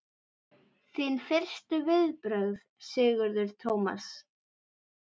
Þín fyrstu viðbrögð Sigurður Tómas?